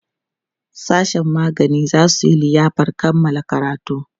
sashen magani zasu Yi liyafar Kamala karatu